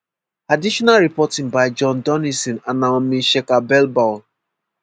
additional reporting by jon donnison and naomi scherbel-ball